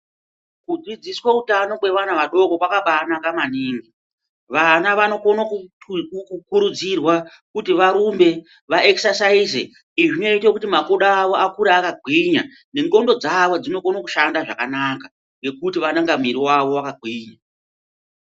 Kudzidziswa hutano hwevana vadoko kwakabanaka maningi ngekuti vana vanokona kukurudzirwa kuti varumbe vaexesaize izwi rekuti vabuda vakure vakagwinya nengonxo dzawo dzinokona kushanda zvakanaka nemwiri wawo wakagwinya.